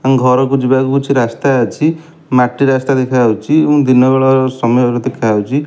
ଘରକୁ ଯିବାକୁ କିଛି ରାସ୍ତା ଅଛି ମାଟି ରାସ୍ତା ଦେଖାଯାଉଛି ଓ ଦିନବେଳର ସମୟ ଦେଖାଯାଉଛି।